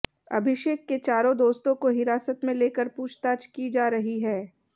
अभिषेक के चारों दोस्तों को हिरासत में लेकर पूछताछ की जा रही है